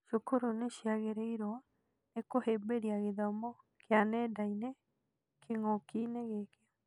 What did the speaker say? Cukuru nĩciagĩrĩirwo nĩ kũhĩmbĩria gĩthomo kĩa nenda-inĩ kĩng'ũki-inĩ gĩkĩ